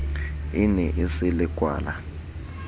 e ne e se lekwala